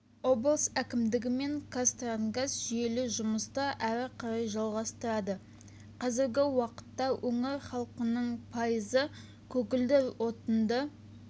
облыс әкімдігі мен қазтрансгаз жүйелі жұмысты әрі қарай жалғастырады қазіргі уақытта өңір халқының пайызы көгілдір отынды